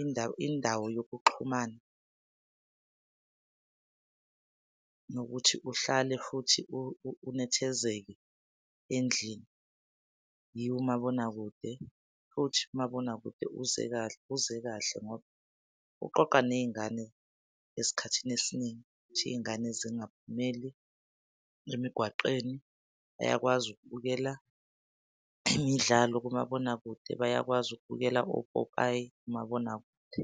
indawo indawo yokuxhumana nokuthi uhlale futhi unethezeke endlini yiwo umabonakude. Futhi umabonakude uze kahle uze kahle ngoba uqoqa ney'ngane esikhathini esiningi, ukuthi iy'ngane zingaphumeli emigwaqeni. Bayakwazi ukubukela imidlalo kumabonakude, bayakwazi ukubukela opopayi kumabonakude.